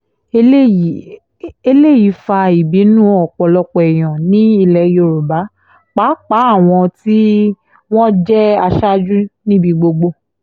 eléyìí eléyìí fa ìbínú ọ̀pọ̀lọpọ̀ èèyàn ní ilẹ̀ yorùbá pàápàá àwọn tí wọ́n jẹ́ aṣáájú níbi gbogbo